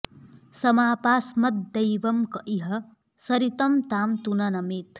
समापास्मद्दैवं क इह सरितं तां तु न नमेत्